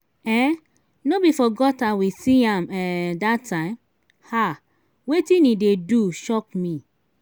um no be for gutter we see am um dat time? um wetin he dey do shock me.